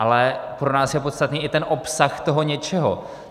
Ale pro nás je podstatný i ten obsah toho něčeho.